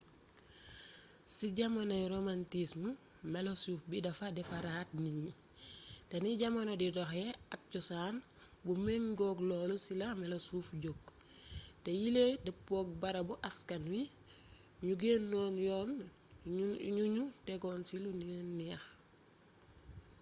ci jamonoy romantism melosuuf bi dafa defaraat nit ñi te ni jamono di doxee ak cosaan bu méngook loolu ci la melosuuf jog te yile dëppook barabu askan wi ñoo gënoon yoon yuñu tegon ci lu leen neex